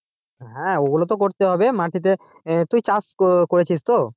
হ্যাঁ ওগুলো তো করতেই হবে মাটিতে তুই চাষ করেছিস তো?